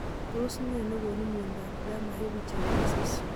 Tos ne nekonu miondop gamma heavy chain disease?